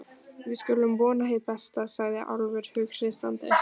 Við skulum vona hið besta, sagði Álfur hughreystandi.